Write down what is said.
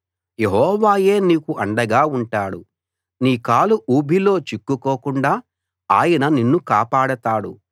యెహోవాయే నీకు అండగా ఉంటాడు నీ కాలు ఊబిలో చిక్కుకోకుండా ఆయన నిన్ను కాపాడతాడు